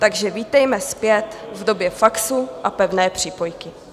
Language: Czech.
Takže vítejme zpět v době faxu a pevné přípojky!